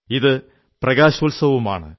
ഇത് പ്രകാശോത്സവവുമാണ്